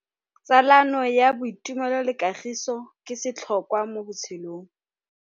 Tsalano ya boitumelo le kagiso ke setlhôkwa mo botshelong.